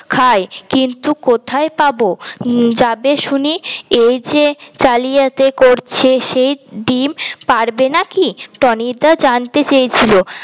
খায় কিন্তু কোথায় পাব যাবে শুনি এই যে জালিয়াতি করছে সেই ডিম পাড়বে নাকি টনি দা জানতে চেয়েছিল